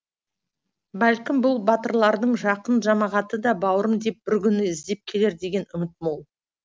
бәлкім бұл батырлардың жақын жамағаты да бауырым деп бір күні іздеп келер деген үміт мол